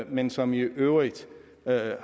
men som i øvrigt